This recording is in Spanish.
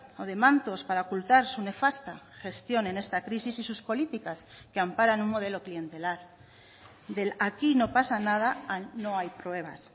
o de mantos para ocultar su nefasta gestión en esta crisis y sus políticas que amparan un modelo clientelar del aquí no pasa nada a no hay pruebas